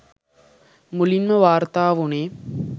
මුලින්ම වාර්තා වුනේ